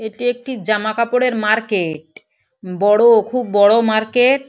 এটি একটি জামা কাপড়ের মার্কেট বড় খুব বড় মার্কেট ।